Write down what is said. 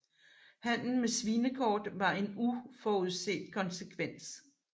Handelen med svinekort var en uforudset konsekvens